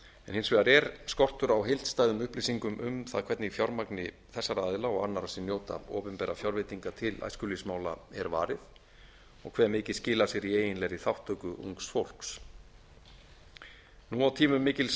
hins vegar er skortur á heildstæðum upplýsingum um það hvernig fjármagni þessara aðila og annarra sem njóta opinbera fjárveitinga til æskulýðsmála er varið og hve mikið skilar sér í eiginlegri þátttöku ungs fólks nú á tímum mikils